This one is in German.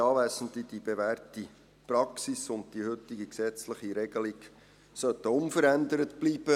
Die bewährte Praxis und die heutige gesetzliche Regelung sollten unverändert bleiben.